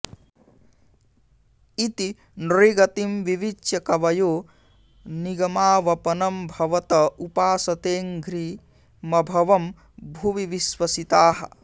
इति नृगतिं विविच्य कवयो निगमावपनं भवत उपासतेऽङ्घ्रिमभवं भुवि विश्वसिताः